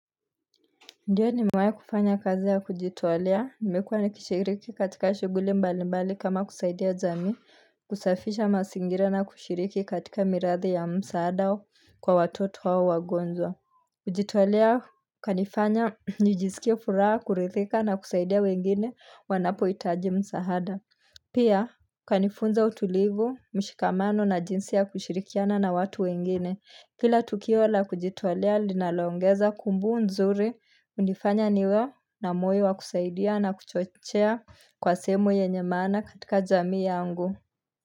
Ndiyo nimewahi kufanya kazi ya kujitolea, nimekuwa nikishiriki katika shuguli mbali mbali kama kusaidia jamii kusafisha masingira na kushiriki katika mirathi ya msahada kwa watoto hawa wagonjwa kujitolea kwanifanya nijisikie furaha kurithika na kusaidia wengine wanapoitaji msaada Pia kanifunza utulivu, mshikamano na jinsi ya kushirikiana na watu wengine Kila tukio la kujitolea linaloongeza kumbu nzuri unifanya niwe na moyo wa kusaidia na kuchochea kwa sehemu yenye maana katika jamii yangu.